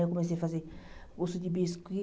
Eu comecei a fazer curso de biscuit.